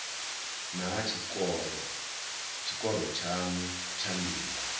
naa tshikoro tshanu tsha ndingo